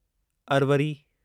Arvari